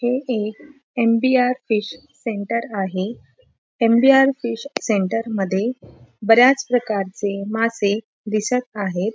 हे एक M B R. Fish centre आहे एम.बी.आर. फिश सेंटर मध्ये बऱ्याच प्रकारचे मासे दिसत आहे.